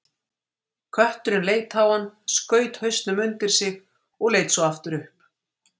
Kötturinn leit á hann, skaut hausnum undir sig og leit svo aftur upp.